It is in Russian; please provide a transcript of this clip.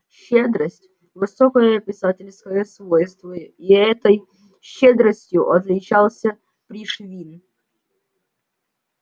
щедрость высокое писательское свойство и этой щедростью отличался пришвин